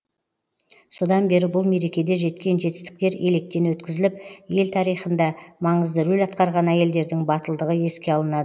содан бері бұл мерекеде жеткен жетістіктер електен өткізіліп ел тарихында маңызды рөл атқарған әйелдердің батылдығы еске алынады